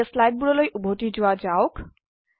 এতিয়া স্লাইডবোৰলৈ উভতি যোৱা যাওক